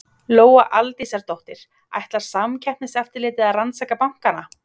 Lóa Aldísardóttir: Ætlar Samkeppniseftirlitið að rannsaka bankana?